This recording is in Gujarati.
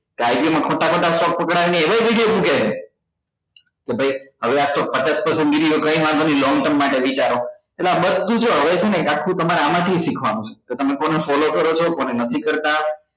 માં ખોટા ખોટા શોક પકડાવવા ના ને એવા જ video મુકે છે તો ભાઈ હવે આતો પચાસ long term માટે વિચારો એટલે આ બધું જો હવે છે ને એક આખું તમારે આમાંથી શીખવા નું છે કે તમે કોને follow કરો છો કોને નથી કરતા